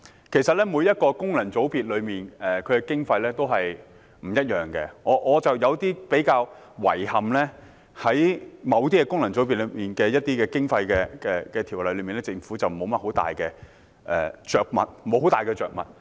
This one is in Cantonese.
其實，每個功能界別的經費都不一樣，而我覺得比較遺憾的是，對於某些功能界別的經費，政府在《條例草案》中並沒有太多着墨。